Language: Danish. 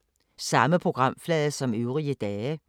Samme programflade som øvrige dage